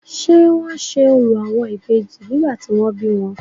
ṣé wọ́n se orò àwọn Ìbejì nígbà tí wọ́n bí wọn?